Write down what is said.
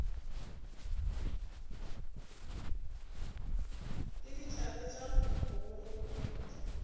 le dithabe tša go gogoba